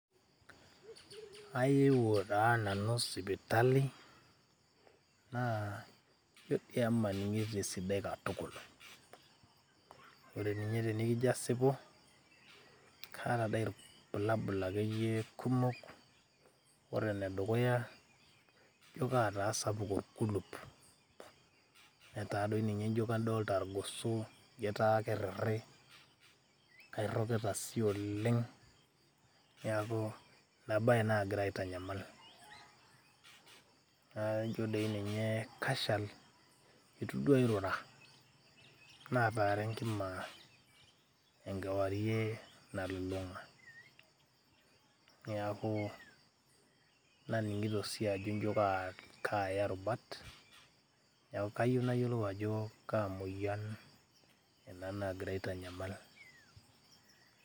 ayewuo taa nanu sipitali naa ijo doi emaning'ito esidai katukul ore ninye tenikijio asipu kaata dei irbulabul akeyie kumok ore enedukuya injio kataa sapuk orkulup netaa doi ninye ijio kadolta irgoso ajo ketaa kerriri kairrokita sii oleng niaku ina baye nagira aitanyamal naijo doi ninye kashal etu duo airura nataara enkima enkewarie nalulung'a niaku, naning'ito sii ajo injio kaaya irubat neeku kayieu nayiolou ajo kaa moyian ena naagira aitanyamal.